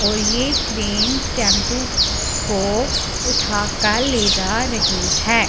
और ये crane tempo को उठा कर ले जा रही हैं।